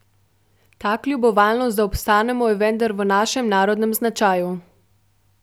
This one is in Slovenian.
Ta kljubovalnost, da obstanemo, je vendar v našem narodnem značaju.